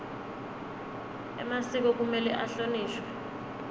emasiko kumele ahlonishwe